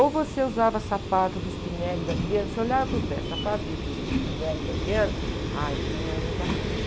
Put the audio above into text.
Ou você usava sapato do Spinelli e da Adriano. Você olhava para o pé, sapato do, do Spinelli e da Adriano, ah, então ela é bacana.